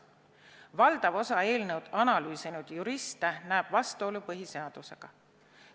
Valdav osa eelnõu analüüsinud juriste näeb vastuolu põhiseadusega.